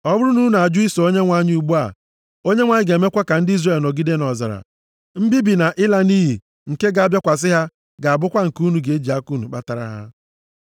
Ọ bụrụ na unu ajụ iso Onyenwe anyị ugbu a, Onyenwe anyị ga-emekwa ka ndị Izrel nọgide nʼọzara. Mbibi na ịla nʼiyi nke ga-abịakwasị ha ga-abụkwa nke unu ji aka unu kpatara ha.”